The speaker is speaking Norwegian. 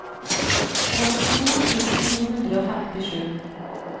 åttito tusen to hundre og femtisju